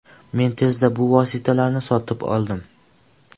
Men tezda bu vositalarni sotib oldim.